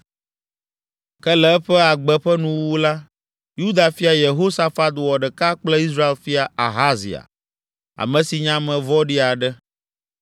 Ke le eƒe agbe ƒe nuwuwu la, Yuda fia Yehosafat wɔ ɖeka kple Israel fia, Ahazia, ame si nye ame vɔ̃ɖi aɖe.